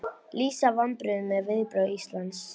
Lýsa vonbrigðum með viðbrögð Íslands